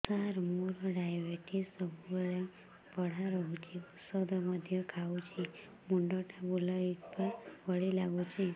ସାର ମୋର ଡାଏବେଟିସ ସବୁବେଳ ବଢ଼ା ରହୁଛି ଔଷଧ ମଧ୍ୟ ଖାଉଛି ମୁଣ୍ଡ ଟା ବୁଲାଇବା ଭଳି ଲାଗୁଛି